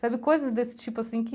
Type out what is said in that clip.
Sabe coisas desse tipo, assim, que...